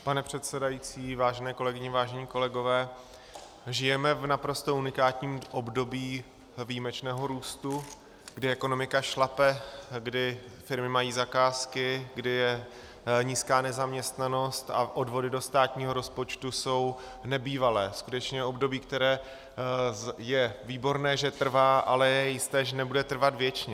Pan předsedající, vážené kolegyně, vážení kolegové, žijeme v naprosto unikátním období výjimečného růstu, kdy ekonomika šlape, kdy firmy mají zakázky, kdy je nízká nezaměstnanost a odvody do státního rozpočtu jsou nebývalé, skutečně období, které je výborné, že trvá, ale je jisté, že nebude trvat věčně.